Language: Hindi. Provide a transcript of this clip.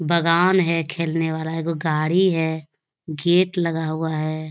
बागान है खेलने वाला एगो गाड़ी है गेट लगा हुआ है ।